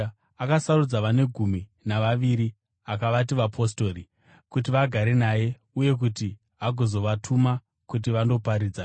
Akasarudza vane gumi navaviri akavati vapostori, kuti vagare naye uye kuti agozovatuma kuti vandoparidza